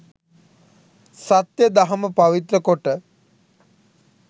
සත්‍ය දහම පවිත්‍ර කොට